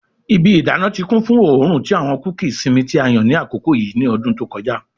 Ibi idana ti kun fun oorun ti awọn kuki isinmi ti a yan ni akoko yii ni ọdun to kọja